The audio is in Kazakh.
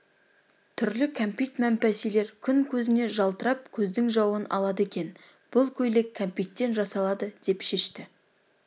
түрлі кәмпит мәмпәсилер күн көзіне жалтырап көздің жауын алады екен бұл көйлек кәмпиттен жасалады деп шешті